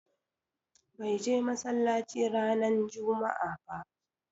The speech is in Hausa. Bai je massalacci ranan juma'a ɓa.